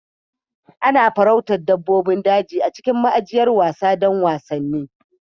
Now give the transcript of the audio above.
Ana farauta dabbobin daji a cikin ma'ajiyar wasa don wasanni.